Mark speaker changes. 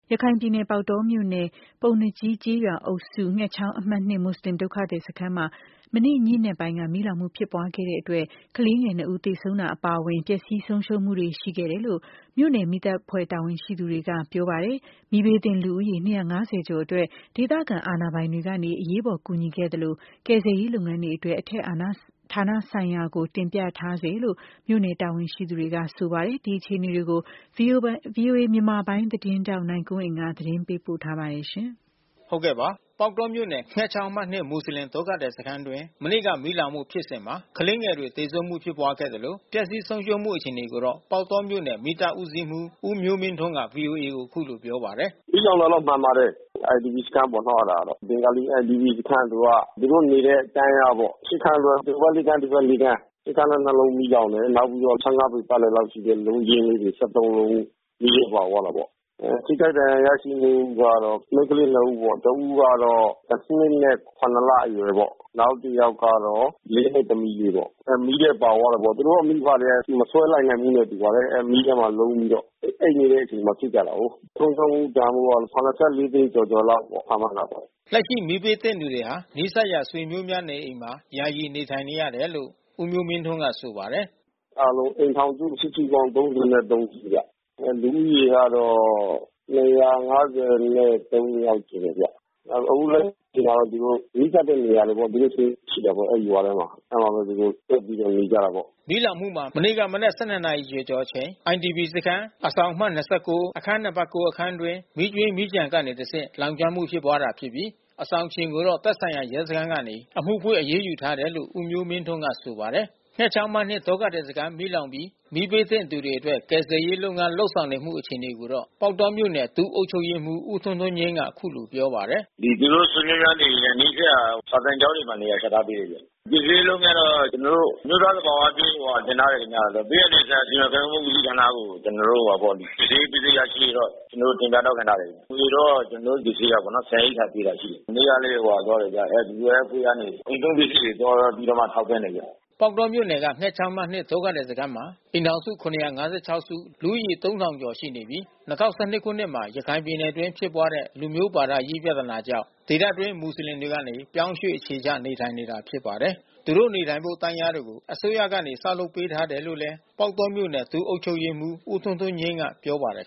Speaker 1: ရခိုင်ပြည်နယ် ၊ ပေါက်တောမြို့နယ်၊ ပုဏ္ဏားကြီးကျေးရွာအုပ်စု၊ ငှက်ချောင်းအမှတ် မွတ်ဆလင်ဒုက္ခသည်စခန်းမှာ မနေ့ ညဉ့်နက်ပိုင်းက မီးလောင်မှုဖြစ်ပွားခဲ့တာကြောင့် ကလေးငယ် ၂ ဦး သေဆုံးတာအပါအဝင် ပျက်စီးဆုံးရှုံးမှုတွေ ရှိခဲ့တယ်လို့ မြို့နယ်မီးသတ် အဖွဲ့တာဝန်ရှိသူတွေက ပြောပါတယ်။ မီးဘေးသင့်လူဦးရေ ကျော်အတွက် ဒေသခံ အာဏာပိုင်တွေကနေ အရေးပေါ် ကူညီခဲ့သလို ကယ်ဆယ်ရေးလုပ်ငန်းအတွက် အထက်ဌာနဆိုင်ရာကို တင်ပြထားဆဲလို့ မြို့နယ်တာဝန်ရှိသူတွေက ဆိုပါတယ်။ ဒီအခြေအနေကို ဗွီအိုအေမြန်မာပိုင်းသတင်းထောက်နိုင်ကွန်းအိန်ကနေ သတင်းပေးပို့ထားပါတယ်။
Speaker 2: ပေါက်တောမြို့နယ်၊ ငှက်ချောင်းအမှတ် မွတ်ဆလင်ဒုက္ခသည်စခန်းအတွင်း မနေ့က မီးလောင်မှုဖြစ်စဉ်မှာ ကလေးငယ် တွေသေဆုံးမှုဖြစ်ပွားခဲ့သလို ပျက်စီးဆုံးရှုံးမှု အခြေအနေကိုတော့ ပေါက်တောမြို့နယ် မီးသတ်ဦးစီးမှူး ဦးမျိုးမင်းထွန်းက ဗွီအိုအေကို အခုလိုပြောပါတ
Speaker 3: ယ်။ “မီးလောင်တာတော့မှန်ပါတယ်။ IDP စခန်း ပေါ့နော်အဲတာ။ ဘင်္ဂါလီလူနေစခန်း သူက။ သူတို့နေတဲ့ တန်းလျားပေါ့။ ခန်း တွဲ ဟိုဖက် ခန်း ဒီဖက် ခန်း။ အဲဒီအခန်း လုံးမီးလောင်တယ်။ နောက်ပြီးတော့ ပေပတ်လည် လောက်ရှိတဲ့ လုံးချင်းလေးတွေ လုံး မီးထဲပါသွားတာပေါ့။ ထိခိုက်ဒဏ်ရာရရှိမူကတော့ မိန်းကလေးနှစ်ဦးပေါ့။ တဦးကတော တနှစ် နဲ့ လအရွယ်ပေါ့။ နောက်တယောက် ကတော့ နှစ်သမီးလေးပေါ့။ မီးထဲပါသွားတာပေါ့။ သူတို့မိဘတွေကလဲ မဆွဲ လိုက်နိုင်ဘူးနဲ့တူပါတယ်။ အဲမီးထဲမှာ လုံးပြီးတော့။ အိပ်နေတဲ့အချိန်မှာ ဖြစ်ကြတာကိုး။ ဆုံးရှုံးမှုတန်ဖိုးက သိန်း ကျော် ကျော်လောက်ပေါ့။ ခန့်မှန်းတာပေါ့
Speaker 2: ။” လက်ရှိ မီးဘေးသင့်သူတွေဟာ နီးစပ်ရာ ဆွေမျိုးများနေအိမ်တွေမှာ ယာယီနေထိုင်နေရ တယ်လို့ ဦးမျိုးမင်းထွန်း ကဆိုပါတယ်
Speaker 3: ။ “အားလုံးအိမ်ထောင်စု စုစုပေါင်း စုဗျ။ လူဦးရေက ယောက်ရှိတယ်ဗျ။ အခုလက်ရှိမှာတော့သူတို့ နီးစပ်တဲ့ နေရာတွေပေါ့။ သူတို့ဆွေမျိုးရှိတယ်ပေါ့အဲဒီရွာထဲမှာ။ အဲဒီမှာဘဲသူတို့စုပြီးတော့နေကြတာပေါ့
Speaker 2: ။” မီးလောင်မှုမှာ မနေ့က မနက် ရီကျော်ကျော်အချိန် IDP စခန်း အဆောင်အမှတ် ၊ အခန်း နံပါတ် အခန်း အတွင်း မီးကြွင်းမီးကျန်ကနေတဆင့် စတင် လောင်ကျွမ်းမှု ဖြစ်ပွားတာဖြစ်ပြီး အဆောင်ရှင်ကိုတော့ သက်ဆိုင်ရာ ရဲစခန်းကနေ အမှုဖွင့် အရေးယူထားတယ်လို့ ဦးမျိုးမင်းထွန်းက ဆိုပါတယ်။ ငှက်ချောင်းအမှတ် ဒုက္ခသည်စခန်းမီးလောင်ပြီး မီးဘေးသင့်သူတွေအတွက် ကယ်ဆယ်ရေးလုပ်ငန်း လုပ်ဆောင် နေတဲ့အခြေအနေကိုတော့ ပေါက်တောမြို့နယ် ဒုအုပ်ချုပ်ရေးမှူး ဦးထွန်းထွန်းငြိမ်းက အခုလိုပြောပါတယ်
Speaker 4: ။ “သူတို့ဆွေမျိုးများနေအိမ်နဲ့ နီးစပ်ရာ စာသင်ကျောင်းတွေမှာ နေရာချထားပေးတယ်ဗျ။ ကယ်ဆယ်ရေး လုပ်ငန်းကတော့ ကျွန်တော်တို့ အမျိုးသား သဘာဝဘေးကိုတင်ထားတယ်ခင်ဗျ။ ဘေးအန္တရာယ်ဆိုင်ရာ စီမံခန့်ခွဲမှု ဦးစီးဌာနကို ကျွန်တော် တို့ ကယ်ဆယ်ရေးပစ္စည်းရရှိရေးတော့ ကျွန်တော်တို့ တင်ပြ တောင်းခံ ထားတယ်။ အကူညီတော့ ကျွန်တော်တို့ ကယ် ဆယ်ရေးကပေါ့နော် ဆန်ရိက္ခာပေးတာရှိတယ်။ မနေ့ကလဲ ဟိုဟာသွားတယ်ဗျ။ WFP ကနေ အိမ်သုံးပစ္စည်းတွေ သွားပြီးတော့ထောက်ပံ့တယ်ဗျ။”
Speaker 2: ပေါက်တောမြို့နယ်က ငှက်ချောင်းအမှတ် ဒုက္ခသည်စခန်းမှာ အိမ်ထောင်စု စု၊ လူဦးရေ ကျော် ရှိနေပြီး ၂၀၁၂ခုနှစ်မှာ ရခိုင်ပြည်နယ်အတွင်း ဖြစ်ပွားတဲ့ လူမျိုးဘာသာရေး ပြဿနာကြောင့် ဒေသအတွင်း မွတ်ဆလင် ပြောင်းရွှေ့ အခြေချ နေထိုင်နေတာဖြစ်ပါတယ်။ သူတို့နေထိုင်ဖို့ တန်းလျားတွေကို အစိုးရကနေ ဆောက်လုပ်ပေးထားတယ်လို့လဲ ပေါက်တောမြို့နယ် ဒုအုပ်ချုပ်ရေးမှူး ဦးထွန်းထွန်းငြိမ်းက ပြောပါတယ်